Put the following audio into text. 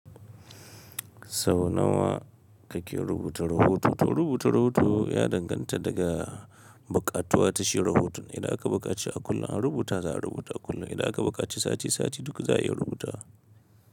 Sau nawa ka ke rubuta rahoto? To rubuta rahoto ya danganta daga buƙatuwa ta shi rahoton. Idan aka buƙaci a kullum a rubuta za'a rubuta a kullum. Idan aka buƙaci sati sati duk za a iya rubutawa.